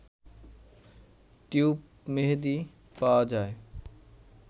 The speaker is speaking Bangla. টিউব মেহেদি পাওয়া যায়